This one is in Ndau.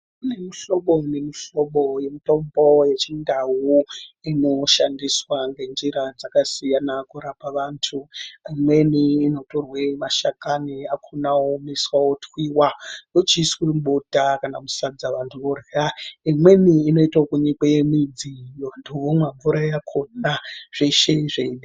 Kunemihlobo nemihlobo yemitombo yechindau inoshandiswa ngenjira dzakasiyana kurapa vantu. Amweni inotorwe mashakani akona oomeswa otwiva vochiiswe mubota kana musadza vantu vorya. Imweni inoite yekunyikwe midzi vantu vomwa mvura yakona zveshe zveide.